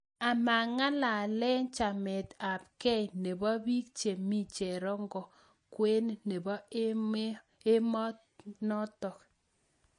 Amang'alale chamet ap gei neboo piik chemii cherongo kwen neboo emoo notok